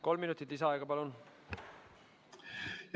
Kolm minutit lisaaega, palun!